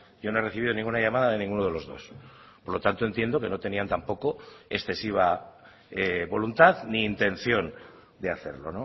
yo no he recibido ninguna llamada de ninguno de los dos por lo tanto entiendo que no tenían tampoco excesiva voluntad ni intención de hacerlo